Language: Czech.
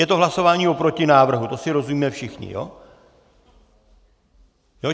Je to hlasování o protinávrhu, to si rozumíme všichni.